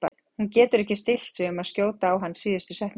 Hún getur ekki stillt sig um að skjóta á hann í síðustu setningunni.